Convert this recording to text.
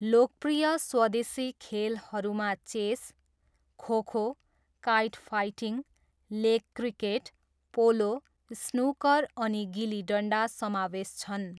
लोकप्रिय स्वदेशी खेलहरूमा chess, kho kho, kite fighting, leg cricket, polo, snooker अनि गिली डन्डा समावेश छन्।